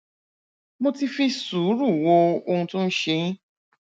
mo ti fi sùúrù wo ohun tó ń ṣe yín